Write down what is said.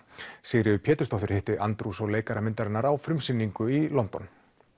Sigríður Pétursdóttir hitti Andrews og leikara myndarinnar á frumsýningu í London